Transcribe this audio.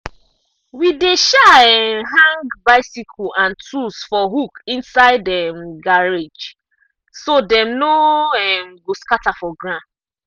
we dey um um hang bicycle and tools for hook inside um garage so dem no um go scatter for ground.